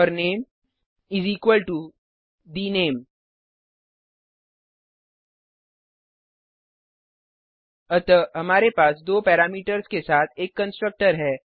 और नामे इस इक्वल टो the name अतः हमारे पास दो पैरामीटर्स के साथ एक कंस्ट्रक्टर है